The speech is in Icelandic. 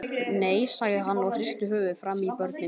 Nei, sagði hann og hristi höfuðið framan í börnin.